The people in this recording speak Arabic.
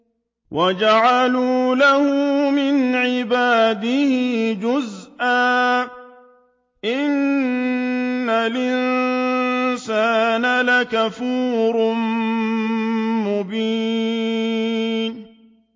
وَجَعَلُوا لَهُ مِنْ عِبَادِهِ جُزْءًا ۚ إِنَّ الْإِنسَانَ لَكَفُورٌ مُّبِينٌ